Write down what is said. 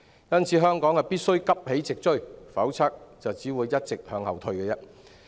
因此，香港必須急起直追，否則便只會一直向後退。